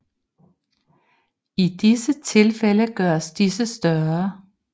I disse tilfældes gøres disse større